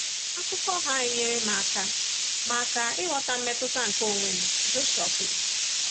Akụkọ ha enyere m aka m aka ịghọta mmetụta nke onwe m, Joshua kwuru.